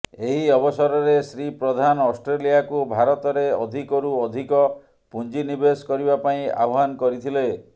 ଏହି ଅବସରରେ ଶ୍ରୀ ପ୍ରଧାନ ଅଷ୍ଟ୍ରେଲିଆକୁ ଭାରତରେ ଅଧିକରୁ ଅଧିକ ପୁଞ୍ଜି ନିବେଶ କରିବା ପାଇଁ ଆହ୍ୱାନ କରିଥିଲେ